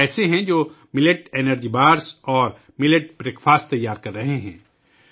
کچھ ایسے بھی ہیں ، جو ملٹ کی انرجی بارز اور ملٹ کا ناشتہ تیار کر رہے ہیں